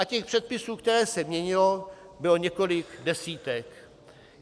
A těch předpisů, které se měnily, bylo několik desítek.